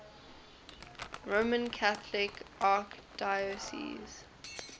roman catholic archdiocese